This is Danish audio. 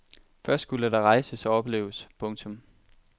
Først skulle der rejses og opleves. punktum